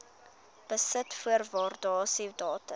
besit voor waardasiedatum